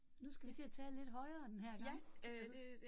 Nu skal vi til at tale lidt højere denne her gang eller noget